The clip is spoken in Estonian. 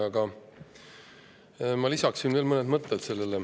Aga ma lisan veel mõned mõtted.